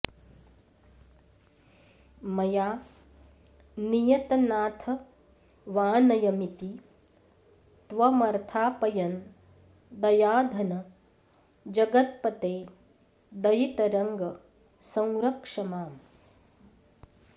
मया नियतनाथवानयमिति त्वमर्थापयन् दयाधन जगत्पते दयित रङ्ग संरक्ष माम्